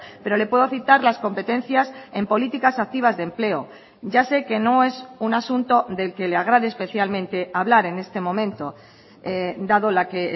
pero le puedo citar las competencias en políticas activas de empleo ya sé que no es un asunto del que le agrade especialmente hablar en este momento dado la que